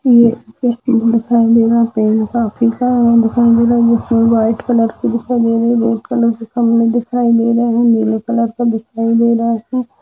White colour कि दिखाई दे रही है येल्लो कलर कि दिखाई दे रहा है।